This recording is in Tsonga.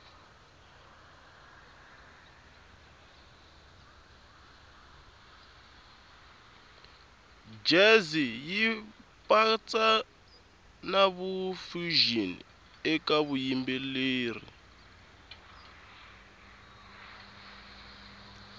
jazz yipatsa nafusion ekavuyimbeleri